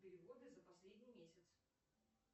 переводы за последний месяц